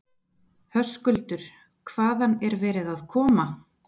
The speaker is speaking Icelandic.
Höskuldur: Hvaðan er verið að koma?